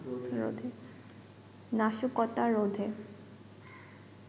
নাশকতা রোধে